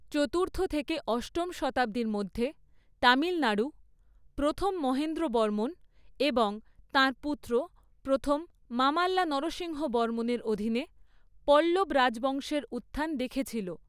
চতুর্থ থেকে অষ্টম শতাব্দীর মধ্যে, তামিলনাড়ু প্রথম মহেন্দ্রবর্মণ এবং তাঁর পুত্র প্রথম মামাল্লা নরসিংহবর্মনের অধীনে পল্লব রাজবংশের উত্থান দেখেছিল।